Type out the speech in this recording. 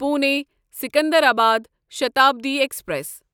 Pune Secunderabad Shatabdi express